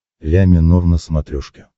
ля минор на смотрешке